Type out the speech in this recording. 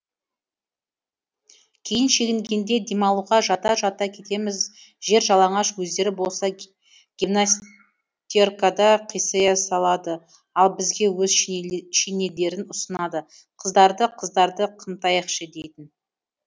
кейін шегінгенде демалуға жата жата кетеміз жер жалаңаш өздері болса гимнастеркада қисая салады ал бізге өз шинелдерін ұсынады қыздарды қыздарды қымтайықшы дейтін